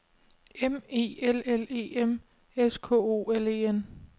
M E L L E M S K O L E N